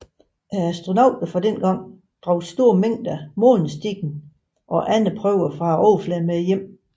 Astronauterne fra dengang bragte store mængder månesten og andre prøver fra overfladen med hjem